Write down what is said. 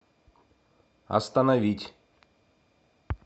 остановить